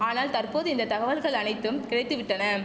ஆனால் தற்போது இந்த தகவல்கள் அனைத்தும் கிடைத்து விட்டன